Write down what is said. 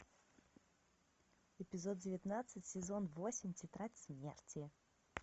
эпизод девятнадцать сезон восемь тетрадь смерти